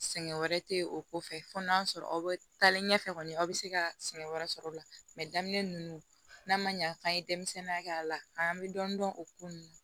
Sɛgɛn wɛrɛ tɛ o ko fɛ fo n'a sɔrɔ aw bɛ taalen ɲɛfɛ kɔni aw bɛ se ka sɛgɛn wɛrɛ sɔrɔ o la daminɛ ninnu n'a ma ɲa k'an ye denmisɛnninya kɛ a la an bɛ dɔɔnin dɔn o ko ninnu na